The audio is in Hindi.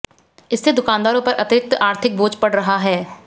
इससे दुकानदारों पर अतिरिक्त आर्थिक बोझ पड़ रहा है